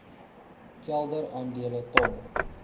kelder aandele ton